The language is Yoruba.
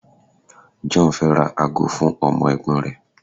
John fẹ ra ago fún ọmọ ègbón rẹ